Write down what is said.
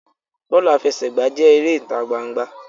Bọọlu afẹsẹgba jẹ èrè ita gbangba.